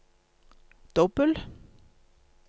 dobbel